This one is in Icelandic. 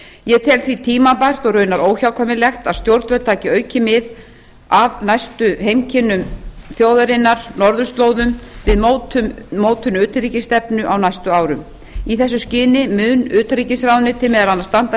ég tel því tímabært og raunar óhjákvæmilegt að stjórnvöld taki aukið mið af næstu heimkynnum þjóðarinnar norðurslóðum við mótun utanríkisstefnunnar á næstu árum í þessu skyni mun utanríkisráðuneytið meðal annars standa